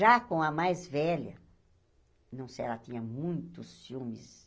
Já com a mais velha, nossa ela tinha muito ciúmes.